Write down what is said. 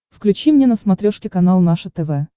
включи мне на смотрешке канал наше тв